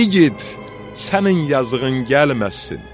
İgid, sənin yazığın gəlməsin.